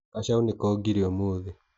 Gacaũ nĩkongire ũmũthĩ.